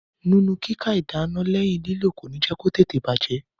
Nínu kúkà ìdáná lẹ́yìn lílò kòní jẹ́ kó tètè bàjẹ́.